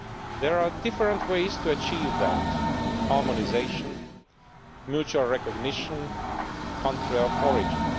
There are different ways to achieve that harmonisation, mutual recognition, country of origin'.